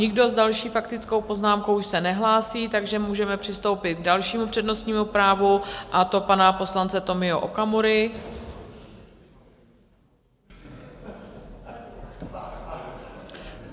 Nikdo s další faktickou poznámkou už se nehlásí, takže můžeme přistoupit k dalšímu přednostnímu právu, a to pana poslance Tomio Okamury.